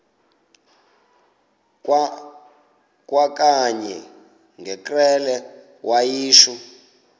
kwakanye ngekrele wayishu